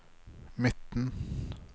midten